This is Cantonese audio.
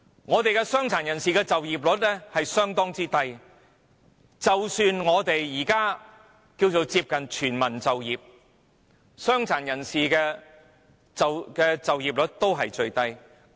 本港的傷殘人士就業率相當低，即使我們目前接近全民就業，傷殘人士的就業率仍是最低。